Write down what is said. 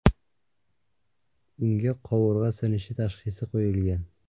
Unga qovurg‘a sinishi tashxisi qo‘yilgan.